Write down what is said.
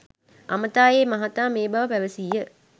අමතා ඒ මහතා මේ බව පැවසීය